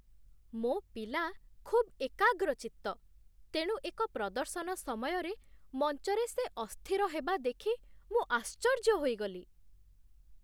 ମୋ ପିଲା ଖୁବ୍ ଏକାଗ୍ରଚିତ୍ତ, ତେଣୁ ଏକ ପ୍ରଦର୍ଶନ ସମୟରେ ମଞ୍ଚରେ ସେ ଅସ୍ଥିର ହେବା ଦେଖି ମୁଁ ଆଶ୍ଚର୍ଯ୍ୟ ହୋଇଗଲି।